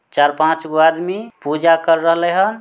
चार पांचगो आदमी पूजा कर रलहे ह।